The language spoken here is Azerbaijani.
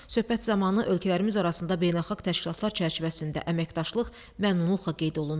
Söhbət zamanı ölkələrimiz arasında beynəlxalq təşkilatlar çərçivəsində əməkdaşlıq məmnunluqla qeyd olundu.